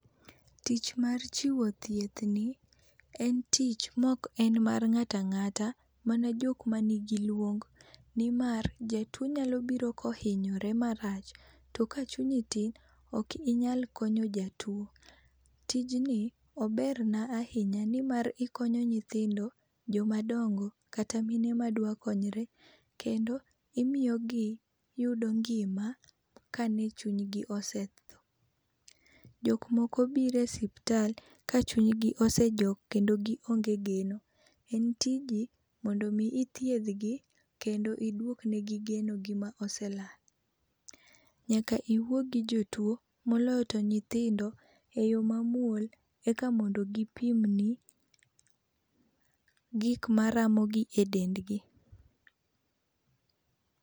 Tich mar chiwo thiethni en tich mok mar ng'ato ang'ata, mana jok mani gi luong nimar jatuo nyalo biro kohinyore marach, to kachunyi tin, ok inyal konyo jatuo. Tijni oberna ahinya nimar ikonyo nyithindo, joma dongo kata mine madwa konyre. Kendo imiyo giyudo ngima kane chunygi osetho. Jok moko biro e osiptal ka chuny gi sejok kendo gionge geno. En tiji mondo mi ithiethgi kendo iduok negi genogi ma oselal. Nyaka iwuo gi jotuo, moloyo to nyithindo eyo mamuol eka mondo gipimni gik maramogi e dendgi.